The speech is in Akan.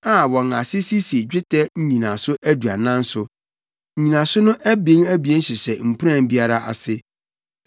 a wɔn ase sisi dwetɛ nnyinaso aduanan so. Nnyinaso no abien abien hyehyɛ mpuran biara ase.